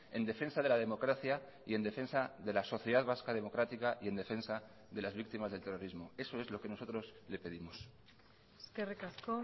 en defensa de la democracia y en defensa de la sociedad vasca democrática y en defensa de las víctimas del terrorismo eso es lo que nosotros le pedimos eskerrik asko